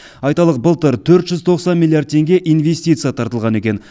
айталық былтыр төрт жүз тоқсан миллиард теңге инвестиция тартылған екен